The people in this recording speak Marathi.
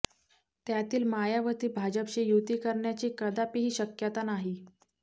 त्यातील मायावती भाजपशी युती करण्याची कदापिही शक्यता नाही